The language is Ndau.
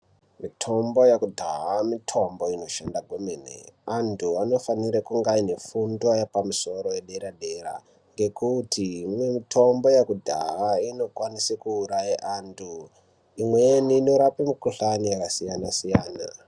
Mitombo yakudhaya mithombo inoshanda kwemene. Antu anofanire kunga aine fundo yapamusoro yedera-dera, ngekuti imwe mitombo yekudhaya inokwanise kuuraya antu, imweni inorape mikhuhlani yakasiyana-siyana.